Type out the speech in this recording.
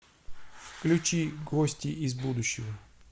включи гости из будущего